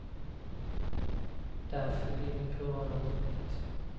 Därför ville vi prova något nytt.